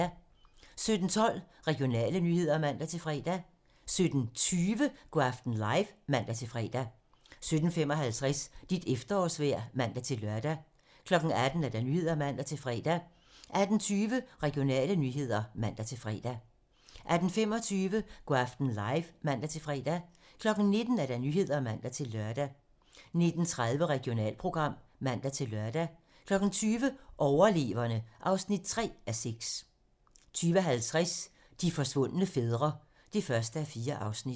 17:12: Regionale nyheder (man-fre) 17:20: Go' aften live (man-fre) 17:55: Dit efterårsvejr (man-lør) 18:00: 18 Nyhederne (man-fre) 18:20: Regionale nyheder (man-fre) 18:25: Go' aften live (man-fre) 19:00: 19 Nyhederne (man-lør) 19:30: Regionalprogram (man-lør) 20:00: Overleverne (3:6) 20:50: De forsvundne fædre (1:4)